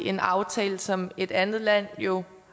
en aftale som et andet land jo